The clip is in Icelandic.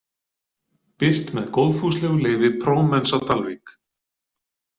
Birt með góðfúslegu leyfi Promens á Dalvík.